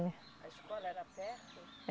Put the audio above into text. A escola era perto?